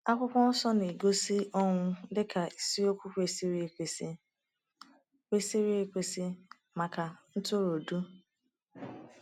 Akwụkwọ Nsọ na-egosi ọnwụ dị ka isiokwu kwesịrị ekwesị kwesịrị ekwesị maka ntụrụndụ?